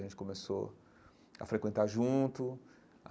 A gente começou a frequentar junto.